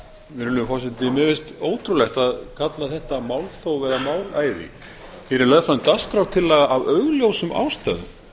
virðulegur forseti mér finnst ótrúlegt að kalla þetta málþóf eða málæði hér er lögð fram dagskrártillaga af augljósum ástæðum